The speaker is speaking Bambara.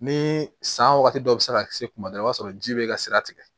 Ni san wagati dɔ bɛ se ka kisi kuma dɔ la i b'a sɔrɔ ji bɛ ka sira tigɛ